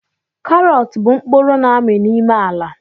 Karọt bụ mkpụrụ na-ami n'ime ala